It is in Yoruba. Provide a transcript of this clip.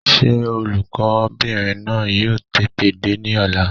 Sé olùkó bìnrin náà yóò tètè dé ní ọ̀la?